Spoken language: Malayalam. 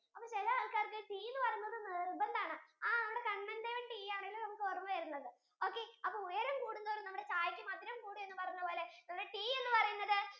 അപ്പൊ ചിലെ ആൾക്കാർക്ക് tea എന്ന് പറയുന്നത് നിർബന്ധം ആണ് ആ നമുക്ക് കണ്ണൻദേവൻ tea ആണല്ലേ നമുക്ക് ഓർമ വരുന്നത് okay അപ്പൊ ഉയരം കൂടുംതോറും ചായക്ക്‌ മധുരം കുടും എന്ന് പറയുന്നതുപോലെ ഇവിടെ tea എന്ന് പറയുന്നത്